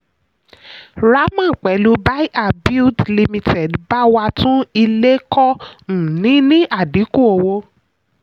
raman pẹ̀lú bahia build ltd bá wa tún ilé kọ́ um ní ní àdínkù owó.